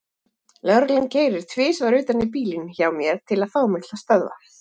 Lögreglan keyrir tvisvar utan í bílinn hjá mér til að fá mig til að stöðva.